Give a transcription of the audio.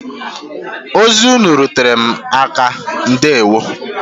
Ozi ụnụ rutere m aka ndewo.